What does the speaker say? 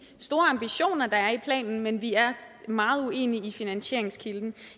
de store ambitioner der er i planen men vi er meget uenige i finansieringskilden